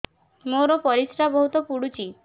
ମୋର ପରିସ୍ରା ବହୁତ ପୁଡୁଚି